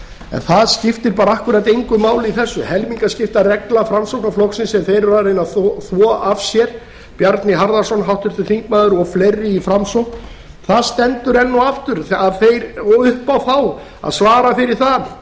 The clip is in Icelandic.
en það skiptir bara akkúrat engu máli í þessu helmingaskiptaregla framsóknarflokksins sem þeir eru að reyna að þvo af sér bjarni harðarson háttvirtur þingmaður og fleiri í framsókn það stendur enn og aftur upp á þá að svara fyrir það